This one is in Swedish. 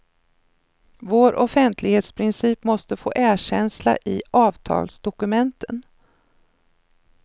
Vår offentlighetsprincip måste få erkänsla i avtalsdokumenten.